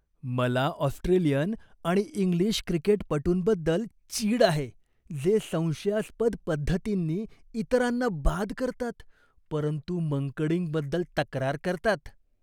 मला ऑस्ट्रेलियन आणि इंग्लिश क्रिकेटपटूंबद्दल चीड आहे, जे संशयास्पद पद्धतींनी इतरांना बाद करतात परंतु मंकडिंगबद्दल तक्रार करतात.